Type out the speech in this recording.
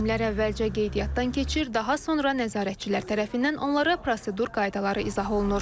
Müəllimlər əvvəlcə qeydiyyatdan keçir, daha sonra nəzarətçilər tərəfindən onlara prosedur qaydaları izah olunur.